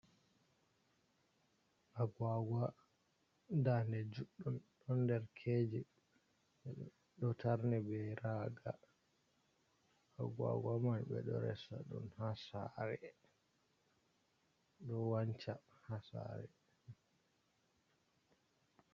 Aguaga dande juddum don derkeji be do tarne be raga aguaga man bedo resa dun ha sare do wanca ha sare.